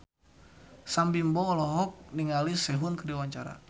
Sam Bimbo olohok ningali Sehun keur diwawancara